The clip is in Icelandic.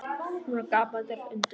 Hún er gapandi af undrun.